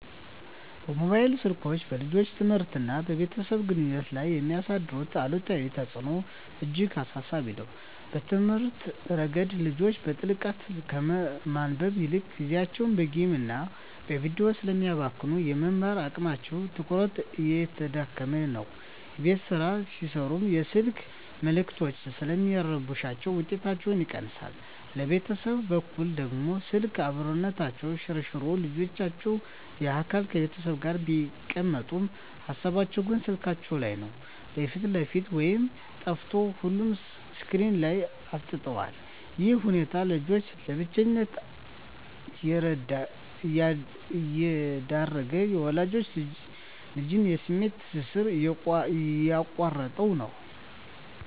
ሞባይል ስልኮች በልጆች ትምህርትና በቤተሰብ ግንኙነት ላይ የሚያሳድሩት አሉታዊ ተጽዕኖ እጅግ አሳሳቢ ነው። በትምህርት ረገድ፣ ልጆች በጥልቀት ከማንበብ ይልቅ ጊዜያቸውን በጌምና በቪዲዮ ስለሚያባክኑ፣ የመማር አቅማቸውና ትኩረታቸው እየተዳከመ ነው። የቤት ሥራ ሲሠሩም የስልክ መልዕክቶች ስለሚረብሹ ውጤታቸው ይቀንሳል። በቤተሰብ በኩል ደግሞ፣ ስልክ "አብሮነትን" ሸርሽሮታል። ልጆች በአካል ከቤተሰብ ጋር ቢቀመጡም፣ ሃሳባቸው ግን ስልካቸው ላይ ነው። የፊት ለፊት ውይይት ጠፍቶ ሁሉም ስክሪን ላይ አፍጥጧል። ይህ ሁኔታ ልጆችን ለብቸኝነት እየዳረገ፣ የወላጅና ልጅን የስሜት ትስስር እየቆረጠው ነው።